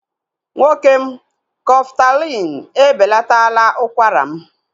Nwoke m, Kọftalin e belataala ụkwara m